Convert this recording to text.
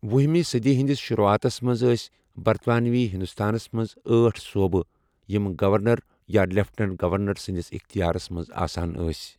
وُہمہِ صٔدی ہِنٛدِس شُروٗعاتس منٛز ٲسہِ برطانوی ہِنٛدوستانس منٛز ٲٹھ صوٗبہٕ یِم گَورنَر یا لیٚفٹیٚننٛٹ گَورنَر سٕنٛدِس اختِیارس منٛز آسان ٲسۍ۔